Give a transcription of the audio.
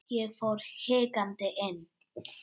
Ég fór hikandi inn.